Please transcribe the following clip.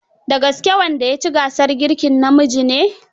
Da gaske wanda ya ci gasar girkin namiji ne?